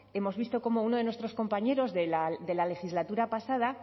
hemos visto como uno de nuestros compañeros de la legislatura pasada